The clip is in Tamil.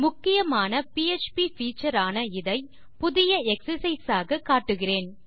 முக்கியமான பிஎச்பி பீச்சர் ஆன இதைபுதிய எக்ஸர்சைஸ் ஆக காட்டுகிறேன்